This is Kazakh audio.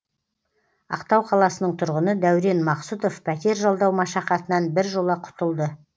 ақтау қаласының тұрғыны дәурен мақсұтов пәтер жалдау машақатынан біржола құтылды